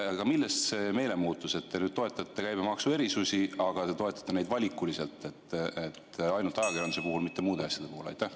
Aga millest see meelemuutus, et te nüüd toetate käibemaksuerisusi, aga toetate neid valikuliselt, ainult ajakirjanduse puhul, mitte muude asjade puhul?